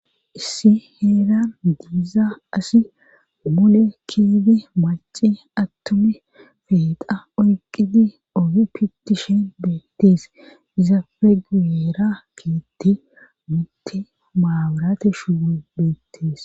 issi heeran diiza asi mule kiiyidii maci attumi pexa oyqidi oge pittishen deettees izappe guyeera keetti mitti maaburatey shuuboy beettees